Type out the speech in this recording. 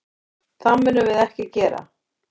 Það munum við ekki gera.